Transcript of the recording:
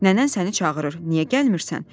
Nənən səni çağırır, niyə gəlmirsən?